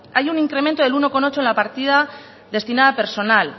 hay un incremento del uno coma ocho en la partida destinada a personal